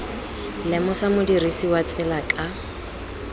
lemosa modirisi wa tsela ka